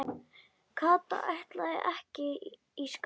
Kata ætlaði ekki í skóla.